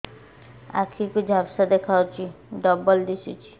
ଆଖି କୁ ଝାପ୍ସା ଦେଖାଯାଉଛି ଡବଳ ଦିଶୁଚି